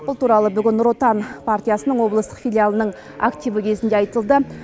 бұл туралы бүгін нұр отан партиясының облыстық филиалының активі кезінде айтылды